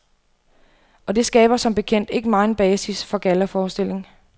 Og det skaber som bekendt ikke megen basis for gallaforestilling.